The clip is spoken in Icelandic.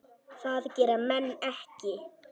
Það gera menn ekki.